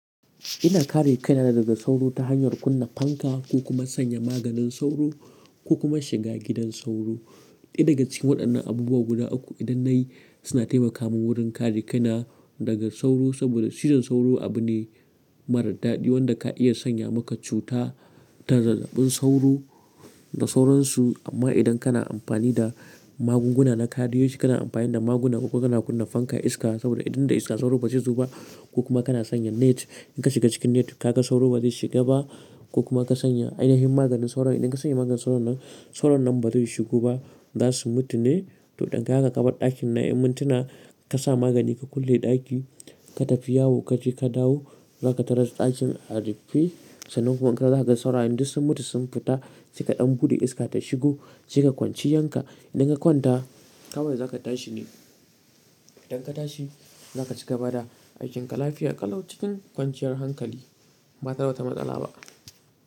Ina kare kaina daga sauro ta hanyar kunna fanka ko kuma sanya maganin sauro ko kuma shiga gidan sauro. Ɗaya daga cikin waɗannan abubuwa guda uku idan nayi suna taimaka mun wurin kare kaina daga sauro. Saboda cizon sauro abune marar daɗi wanda ka iya sanya maka cuta ta zazzabin sauro da sauransu. Amma idan kana amfani da magunguna na kadeji kana amfani da magunguna kuma kana kunna fanka iska saboda idan da iska sauro ba zai zoba. Ko kuma kana sanya net inka shiga cikin net kaga sauro bazai shiga ba. Ko kuma ka sanya ainahin maganin sauro, idan ka sanya maganin sauron sauran nan bazai shigo ba zasu mutu ne. To don gaka kabar ɗakin na ƴan muntuna kasa magani ka kulle ɗaki ka tafi yawo kaje ka dawo zaka taras ɗakin a rufe. Sannan kuma in ks dawo zakaga saurayen duk sun mutu sun fita sai kaɗan buɗe iska ta shigo saika kwanciyan ka. Idan ka kwanta kawai zaka tashi ne. Idan ka tashi zakaci gaba da aikin ka lafiya ƙalau cikin kwanciyar hankali ba tareda wata matsala ba.